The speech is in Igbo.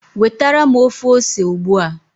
wetara m ofe ose ugbu a